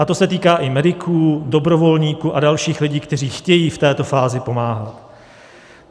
A to se týká i mediků, dobrovolníků a dalších lidí, kteří chtějí v této fázi pomáhat.